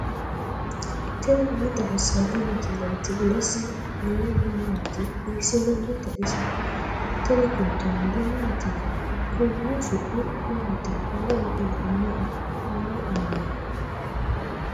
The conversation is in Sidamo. tini maa xawissanno misileeti ? mulese noori maati ? hiissinannite ise ? tini kultannori maattiya? Konni su'mi maatti? Maa wodhinnanniho? Mayi aanna?